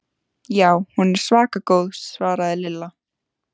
Já, hún er svaka góð svaraði Lilla.